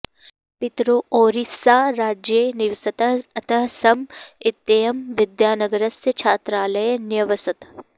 पितरौ ओरिस्साराज्ये निवसतः अतः सॅम इत्ययं विद्यानगरस्य छात्रालये न्यवसत्